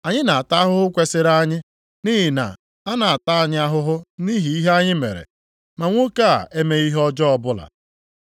Anyị na-ata ahụhụ kwesiri anyị, nʼihi na a na-ata anyị ahụhụ nʼihi ihe anyị mere, ma nwoke a emeghị ihe ọjọọ ọbụla.”